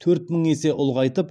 төрт мың есе ұлғайтып